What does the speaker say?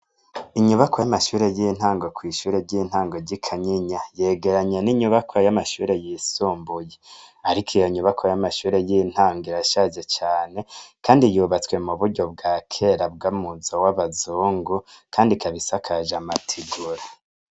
Inyubakwa yamashure yintango kwishure ryintango ryikanyinya yegeranye ninyubakwa yamashure yisumbuye ariko iyonyubakwa yamashure yintango irashaje cane kandi yubatswe muburyo bwakera yumuzo wabazungu kandi ikaba isakajwe amategura